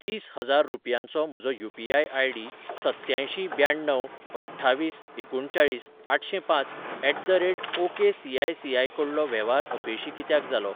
तीस हजार रुपयांचो म्हजो यू.पी.आय. आय.डी सत्त्यांयशीं ब्याण्णव अठ्ठावीस एकुणचाळीस आठशेंपांच एट द रेट ओकेसीआयसीआय कडलो वेव्हार अपेशी कित्याक जालो?